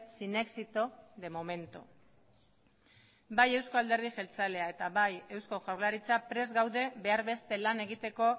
sin éxito de momento bai eusko alderdi jeltzalea eta bai eusko jaurlaritza prest gaude behar beste lan egiteko